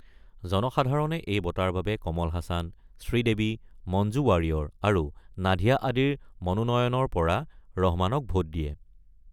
জনসাধাৰণে এই বঁটাৰ বাবে কমল হাছান, শ্ৰীদেবী, মঞ্জু ৱাৰিয়ৰ আৰু নাধিয়াক ধৰি মনোনয়নৰ পৰা ভোট দিয়ে।